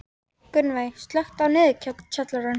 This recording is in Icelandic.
Gunnveig, slökktu á niðurteljaranum.